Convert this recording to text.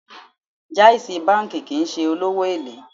Jais banki kìí ṣe olówó èlé.